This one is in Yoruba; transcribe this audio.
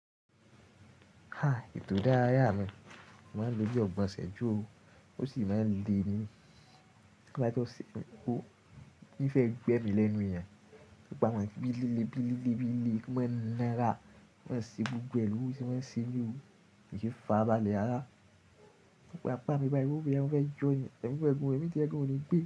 Ha! Ètò ìdárayá mi, mo máa ń lò ọgbọ́n ṣẹ́jú ó, ó sì máa ń le ni. Ọ̀sẹ̀ kan kó, bí fẹ́ gbé mi lẹ́nu ìyẹn, gbogbo àwọn ìbílélẹ, ìbílélẹ, ìbílélẹ kí mọ́n na ra, ki mọ́n ṣe gbogbo re lo se mọ́n se mi o, kí n fara balẹ̀ rara. Ọ̀pọ̀ àpá mi báa yí wò pé wọn fẹ́ jẹun, ẹ fẹ́ gbé mi, tí ẹ kò ní gbé.